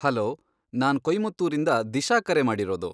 Hello! ನಾನ್ ಕೊಯ್ಮತ್ತೂರಿಂದ ದಿಶಾ ಕರೆ ಮಾಡಿರೋದು.